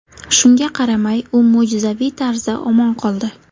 Shunga qaramay, u mo‘jizaviy tarzda omon qoldi.